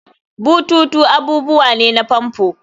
bututu abubuwa ne na famfo